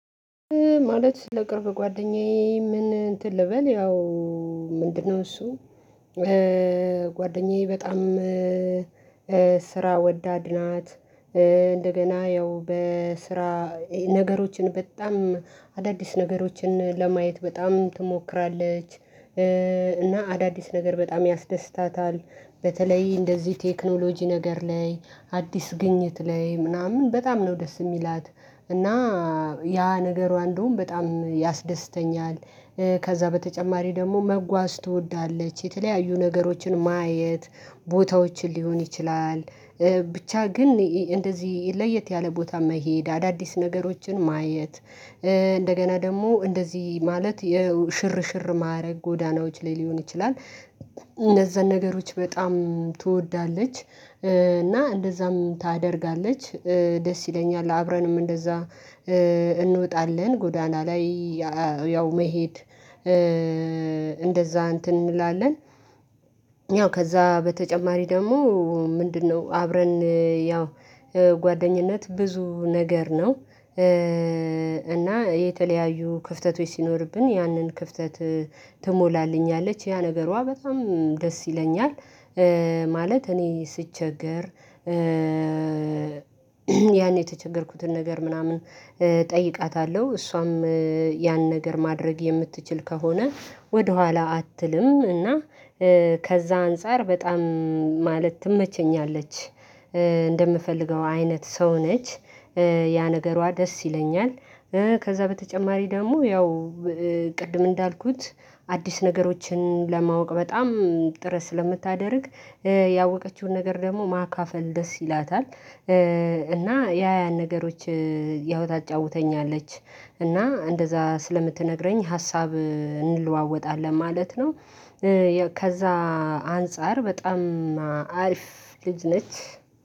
ማለት ለቅርብ ጓደኛዬ ምን እንትን ልበል ያው ምንድነው እሱ ጓደኛዬ በጣም ስራ ወዳድ ናት እንደገና ያው በስራ ነገሮችን በጣም አዳዲስ ነገሮችን ለማየት በጣም ትሞክራለች እና አዳዲስ ነገር በጣም ያስደስታታል በተለይ እንደዚህ ቴክኖሎጂ ነገር ላይ አዲስ ግኝት ላይ ምናምን በጣም ነው ደስ የሚላት እና ያ ነገሯ እንደውም በጣም ያስደስተኛል ከዛ በተጨማሪ ደግሞ መጓዝ ትወዳለች የተለያዩ ነገሮችን ማየት ቦታዎችን ሊሆን ይችላል ብቻ ግን እንደዚህ ለየት ያለ ቦታ መሄድ አዳዲስ ነገሮችን ማየት እንደገና ደግሞ እንደዚህ ማለት የሽርሽር ማረግ ጎዳናዎች ላይ ሊሆን ይችላል እነዛን ነገሮች በጣም ትወዳለች እና እንደዛም ታደርጋለች ደስ ይለኛል አብረንም እንደዛ እንወጣለን ጎዳና ላይ ያው መሄድ እንደዛ እንትን እንላለን ያው ከዛ በተጨማሪ ደግሞ ምንድነው አብረን ያው ጓደኝነት ብዙ ነገር ነው እና የተለያዩ ክፍተቶች ሲኖርብን ያንን ክፍተት ትሞላልኛለች ያ ነገሯ በጣም ደስ ይለኛል ማለት እኔ ስቸገር ያኔ የተቸገርኩትን ነገር ምናምን እጠይቃታለሁ እሷም ያን ነገር ማድረግ የምትችል ከሆነ ወደኋላ አትልም። እና ከዛ አንፃር በጣም ማለት ትመቸኛለች እንደምፈልገው አይነት ሰው ነች ያ ነገሯ ደስ ይለኛል። ከዛ በተጨማሪ ደግሞ ያው ቅድም እንዳልኩት አዲስ ነገሮችን ለማወቅ በጣም ጥረት ስለምታደርግ ያወቀችውን ነገር ደግሞ ማካፈል ደስ ይላታል እና ያ ያን ነገሮች ያው ታጫውተኛለች እና እንደዛ ስለምትነግረኝ ሀሳብ እንለዋወጣለን ማለት ነው ከዛ አንፃር በጣም አሪፍ ልጅ ነች